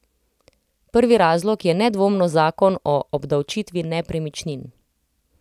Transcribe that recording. Prvi razlog je nedvomno zakon o obdavčitvi nepremičnin.